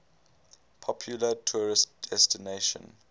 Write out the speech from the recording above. popular tourist destination